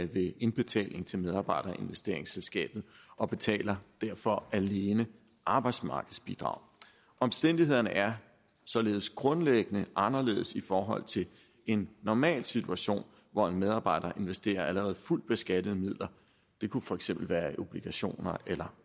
ved indbetaling til medarbejderinvesteringsselskabet og betaler derfor alene arbejdsmarkedsbidrag omstændighederne er således grundlæggende anderledes i forhold til en normal situation hvor en medarbejder investerer allerede fuldt beskattede midler det kunne for eksempel være i obligationer eller